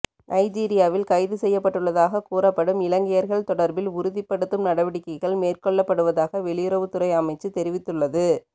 நைஜீரியாவில் கைதுசெய்யப்பட்டுள்ளதாக கூறப்படும் இலங்கையர்கள் தொடர்பில் உறுதிப்படுத்தும் நடவடிக்கைகள் மேற்கொள்ளப்படுவதாக வெளியுறவு துறை அமைச்சு தெரிவித்துள்ளது